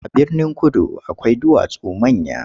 A Birnin-kudu akwai duwatsu manya.